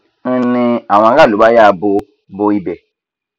ń ní àwọn aráàlú bá ya bo bo ibẹ